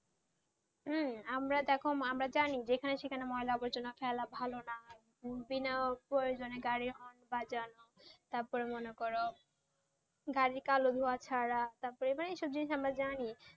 হ্যাঁ আমরা দেখো আমরা জানি যেখানে সেখানে ময়লা আবর্জনা ফেলে ভালো না বিনা প্রয়জনে গাড়ি হন বাজা তারপরে মনে করো গাড়ি কালো ধুয়া ছাড়া তারপরে এইসব জিনিস জানি